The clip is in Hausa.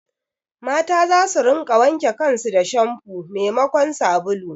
Mata za su rinƙa wanke kan su da shampu memakon sabulu